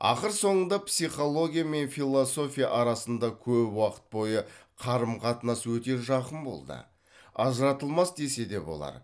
ақыр соңында психология мен философия арасында көп уақыт бойы қарым қатынас өте жақын болды ажыратылмас десе де болар